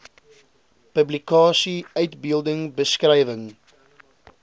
publikasie uitbeelding beskrywing